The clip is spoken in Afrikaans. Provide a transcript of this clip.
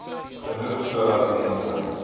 genoeg sodat mense